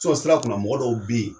sira kunna mɔgɔ dɔw bɛ yen